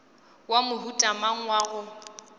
wa mohuta mang wa go